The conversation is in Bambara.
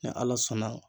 Ni ala sɔnna